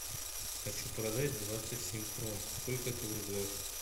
хочу продать двадцать семь крон сколько это в рублях